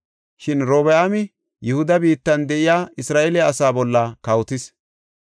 Shin Robi7aami Yihuda biittan de7iya Isra7eele asaa bolla kawotis.